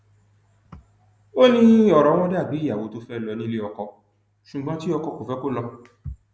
ó ní ọrọ wọn dà bíi ìyàwó tó fẹẹ lọ nílé ọkọ ṣùgbọn tí ọkọ kò fẹ kó lọ